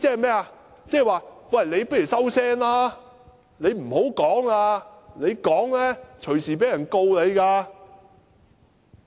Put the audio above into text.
即是說，你不如收聲吧，你不要說了，你說話隨時被控告。